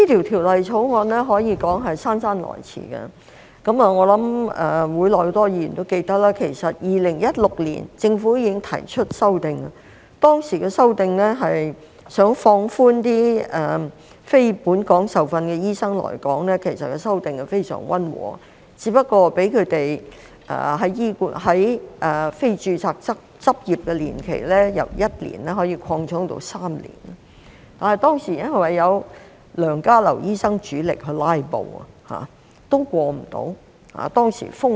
《條例草案》可說是姍姍來遲，我想會內很多議員也記得，其實政府2016年已經提出修訂，當時的修訂是想放寬讓非本港受訓的醫生來港，其實修訂非常溫和，只是讓他們的非註冊執業年期由1年擴充到3年，但當時因為有梁家騮醫生主力"拉布"，所以無法通過。